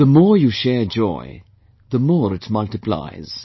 The more you share joy, the more it multiplies